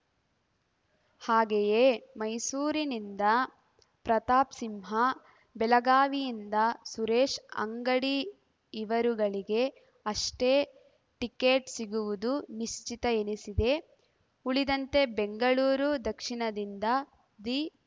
ಹಾಗೆಯೇ ಮೈಸೂರನಿಂದ ಪ್ರತಾಪ್‌ಸಿಂಹ ಬೆಳಗಾವಿಯಿಂದ ಸುರೇಶ್ ಅಂಗಡಿ ಇವರುಗಳಿಗೆ ಅಷ್ಟೇ ಟಿಕೆಟ್ ಸಿಗುವುದು ನಿಶ್ಚಿತ ಎನಿಸಿದೆ ಉಳಿದಂತೆ ಬೆಂಗಳೂರು ದಕ್ಷಿಣದಿಂದ ದಿ